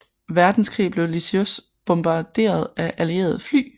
Verdenskrig blev Lisieux bombarderet af allierede fly